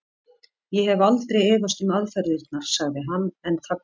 Ég hef aldrei efast um aðferðirnar. sagði hann en þagnaði svo.